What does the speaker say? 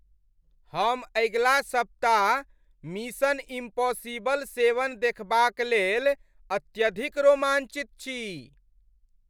हम अगिला सप्ताह मिशन इम्पॉसिबल सेवन देखबाक लेल अत्यधिक रोमांचित छी।